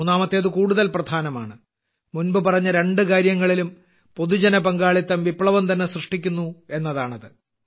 മൂന്നാമത്തേത് കൂടുതൽ പ്രധാനമാണ് മുൻപ് പറഞ്ഞ രണ്ടു കാര്യങ്ങളിലും പൊതുജനപങ്കാളിത്തം വിപ്ലവംതന്നെ സൃഷ്ടിക്കുന്നു എന്നതാണത്